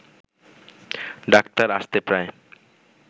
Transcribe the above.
doctor আসতে প্রায়